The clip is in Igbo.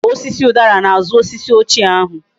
A kuru osisi udara na azu osisi ochie ahu